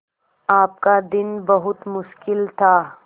आपका दिन बहुत मुश्किल था